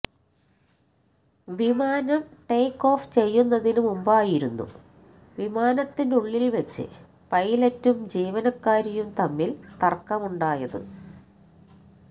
വിമാനം take off ചെയ്യുന്നതിന് മുമ്പായിരുന്നു വിമാനത്തിനുള്ളില്വച്ച് പൈലറ്റും ജീവനക്കാരിയും തമ്മില് തര്ക്കമുണ്ടായത്